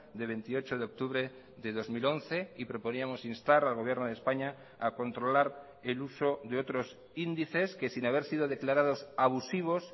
de veintiocho de octubre de dos mil once y proponíamos instar al gobierno de españa a controlar el uso de otros índices que sin haber sido declarados abusivos